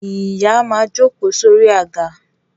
Ìyá máa jókòó sórí àga